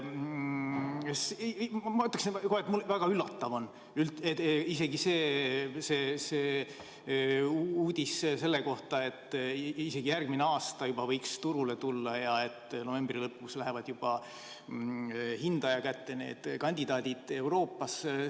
Ma ütleksin, et väga üllatav on uudis selle kohta, et isegi juba järgmine aasta võiks turule tulla ja et juba novembri lõpus lähevad need kandidaadid Euroopas hindaja kätte.